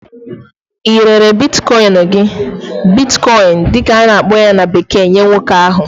i rere "Bitcoin" gi Bitcoin"gị dị ka a na-akpọ ya na bekee nye nwoke ahụ?